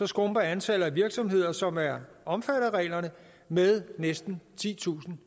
skrumper antallet af virksomheder som er omfattet af reglerne med næsten titusind